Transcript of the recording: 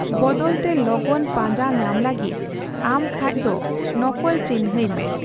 ᱵᱚᱫᱚᱞᱛᱮ, ᱞᱚᱜᱚᱱ ᱯᱟᱸᱡᱟ ᱧᱟᱢ ᱞᱟᱹᱜᱤᱫ ᱟᱢ ᱠᱷᱟᱡ ᱫᱚ ᱱᱚᱠᱚᱞ ᱪᱤᱱᱦᱟᱹᱭ ᱢᱮ ᱾